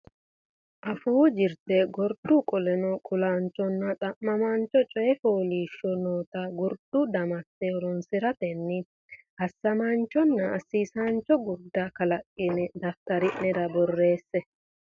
Afuu Jirte Gurdu Qallo Kulaanchonna Xa maancho Coy Fooliishsho noota gurdu damatte horonsi ratenni assamaanchonna assiisaancho gurda kalaqqine daftari nera borreesse.